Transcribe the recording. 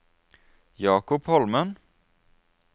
Jakob Holmen